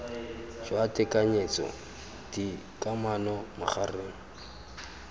jwa tekanyetso d kamano magareng